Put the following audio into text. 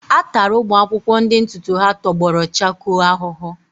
A tara ụmụ akwụkwọ ndị ntutu ha tọgbọrọ chakoo ahụhụ.